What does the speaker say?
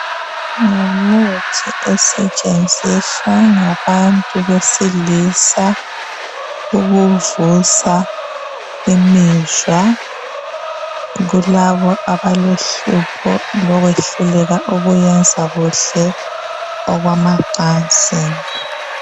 ngumuthi osetshenziswa ngabantu besilisa ukuvusa imizwa kulabo abalohlupho lokwehluleka ukuyenza kuhle okwamacansini